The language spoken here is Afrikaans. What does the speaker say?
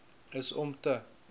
is om te